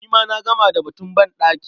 Ni ma na gama da batun banɗaki.